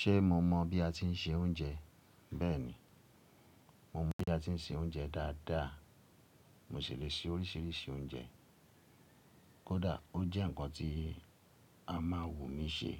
Ṣé mo mọ bí a ti ń se oúnjẹ? Bẹ́ẹ̀ni, mo mọ bí a ti ń se oúnjẹ dáadáa. Mo sì lè se oríṣìíríṣìí oúnjẹ. Kódà ó jẹ́ ǹkan tí a máa wù mí ṣe,